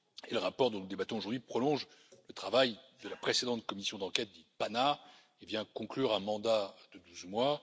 Le rapport dont nous débattons aujourd'hui prolonge le travail de la précédente commission d'enquête PANA et vient conclure un mandat de douze mois.